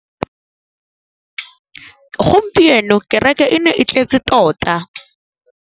Gompieno kêrêkê e ne e tletse tota.